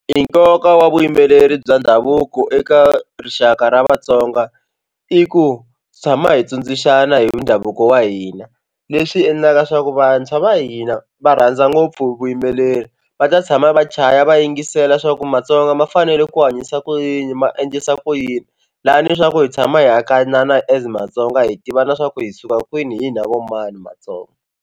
I nkoka wa vuyimbeleri bya ndhavuko eka rixaka ra Vatsonga i ku tshama hi tsundzuxana hi ndhavuko wa hina leswi endlaka leswaku vantshwa va hina va rhandza ngopfu vuyimbeleri va ta tshama va chaya va yingisela swa ku matsonga ma fanele ku hanyisa ku yini ma endlisa ku yini lani leswaku hi tshama hi hambanana as matsonga hi tivana swa ku hi suka kwini hina vo mani matsonga.